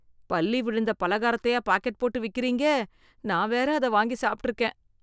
பல்லி விழுந்த பலகாரத்தையா பாக்கெட் போட்டு விக்குறீங்க, நான் வேற அத வாங்கி சாப்ட்ருக்கேன்.